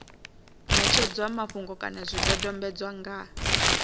ṋetshedzwa mafhungo kana zwidodombedzwa nga